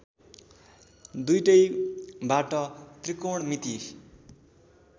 दुईटैबाट त्रिकोणमिति